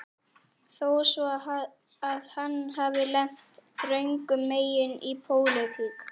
Þó svo að hann hafi lent röngum megin í pólitík